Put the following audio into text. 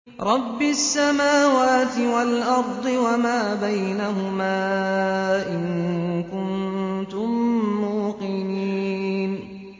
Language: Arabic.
رَبِّ السَّمَاوَاتِ وَالْأَرْضِ وَمَا بَيْنَهُمَا ۖ إِن كُنتُم مُّوقِنِينَ